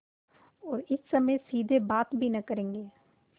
और इस समय सीधे बात भी न करेंगे